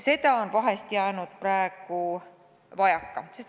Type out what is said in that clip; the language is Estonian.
Seda on praegu vahest vajaka jäänud.